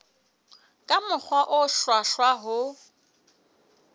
ka mokgwa o hlwahlwa ho